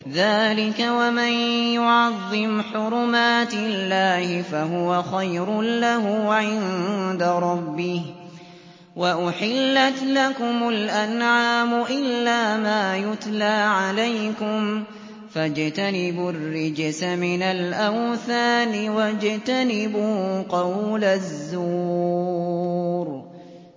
ذَٰلِكَ وَمَن يُعَظِّمْ حُرُمَاتِ اللَّهِ فَهُوَ خَيْرٌ لَّهُ عِندَ رَبِّهِ ۗ وَأُحِلَّتْ لَكُمُ الْأَنْعَامُ إِلَّا مَا يُتْلَىٰ عَلَيْكُمْ ۖ فَاجْتَنِبُوا الرِّجْسَ مِنَ الْأَوْثَانِ وَاجْتَنِبُوا قَوْلَ الزُّورِ